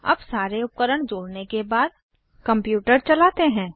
अब सारे उपकरण जोड़ने के बाद कंप्यूटर चलाते हैं